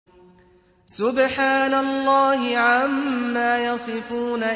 سُبْحَانَ اللَّهِ عَمَّا يَصِفُونَ